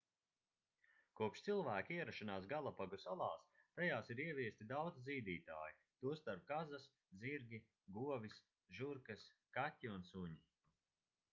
kopš cilvēka ierašanās galapagu salās tajās ir ieviesti daudzi zīdītāji tostarp kazas zirgi govis žurkas kaķi un suņi